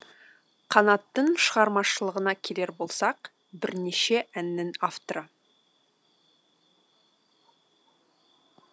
қанаттың шығармашылығына келер болсақ бірнеше әннің авторы